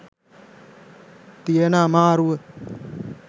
තියෙන අමාරුව.